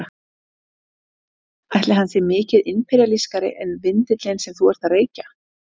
Ætli hann sé mikið imperíalískari en vindillinn sem þú ert að reykja?